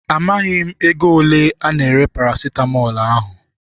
Amaghị m ego ole ana-ere parasitamọl ahụ.